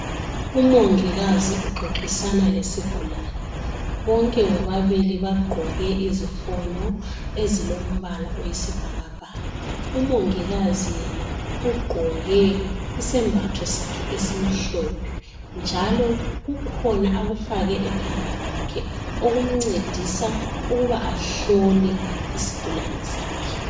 Umongikazi uxoxisana lesigulani bonke bobabili bagqoke izifonyo ezilombala oyisibhakabhaka umongikazi yena ugqoke isembatho sakhe esimhlophe njalo kukhona akufake ekhanda lakhe okumncedisa ukuba ahlola isigulane sakhe.